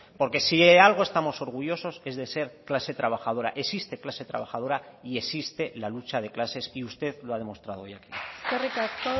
porque si de algo estamos orgullosos es de ser clase trabajadora existe clase trabajadora y existe la lucha de clases y usted lo ha mostrado hoy aquí eskerrik asko